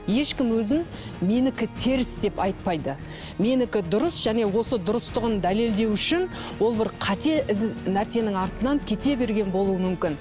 ешкім өзін менікі теріс деп айтпайды менікі дұрыс және осы дұрыстығын дәлелдеу үшін ол бір қате нәрсенің артынан кете берген болуы мүмкін